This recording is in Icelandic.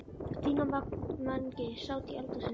Stína og Mangi sátu í eldhúsinu.